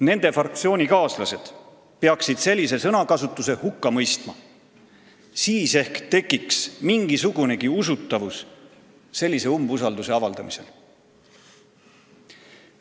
Nende fraktsioonikaaslased peaksid sellise sõnakasutuse hukka mõistma, siis ehk tekiks sellisel umbusalduse avaldamisel mingigi usutavus.